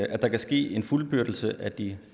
at der kan ske en fuldbyrdelse af de